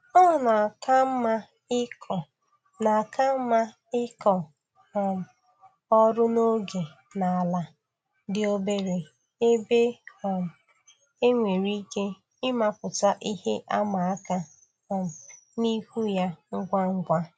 Ọ na-aka mma ịkọ na-aka mma ịkọ um ọrụ n'oge n'ala dị obere ebe um e nwere ike ịmapụta ihe ịma aka um n'ihu ya ngwa ngwa